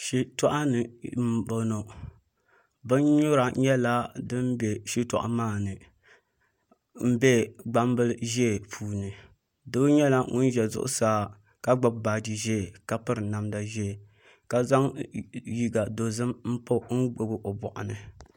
Shitoɣu ni n boŋo bin nyura nyɛla din bɛ shitoɣu maa ni n bɛ gbambili ʒiɛ puuni doo nyɛla ŋun ʒɛ zuɣusaa ka gbubi baaji ƶiɛ ka piri namdi ʒiɛ ka zaŋ liiga dozim n gbubi o boɣu ni